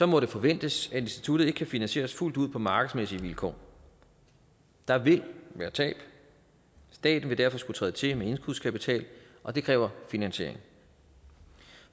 må det forventes at instituttet ikke kan finansieres fuldt ud på markedsmæssige vilkår der vil være tab og staten vil derfor skulle træde til med indskudskapital og det kræver finansiering